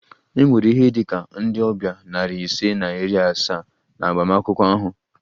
E nwere ihe dị ka ndị ọbịa nari ise na iri asaa na agbamakwụkwọ ahụ